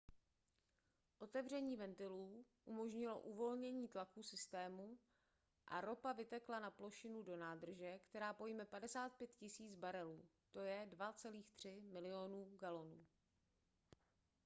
otevření ventilů umožnilo uvolnění tlaku systému a ropa vytekla na plošinu do nádrže která pojme 55 000 barelů 2,3 milionu galonů